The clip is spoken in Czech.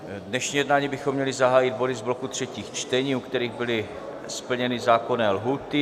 Dnešní jednání bychom měli zahájit body z bloku třetích čtení, u kterých byly splněny zákonné lhůty.